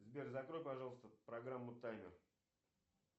сбер закрой пожалуйста программу таймер